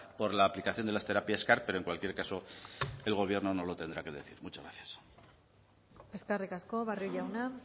por la aplicación de las terapias car pero en cualquier caso el gobierno nos lo tendrá que decir muchas gracias eskerrik asko barrio jauna